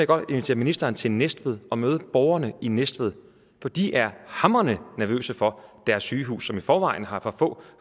godt invitere ministeren til næstved at møde borgerne i næstved for de er hamrende nervøse for deres sygehus som i forvejen har for få